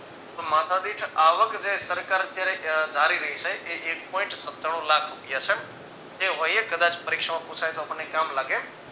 માથાદીઠ આવક જે સરકાર ક્યારેક ધારી લેય છે એ એક point સતાણુ લાખ રૂપિયા છે તે હોઈએ કદાચ પરીક્ષામાં પુછાય તો આપણને કામ લાગે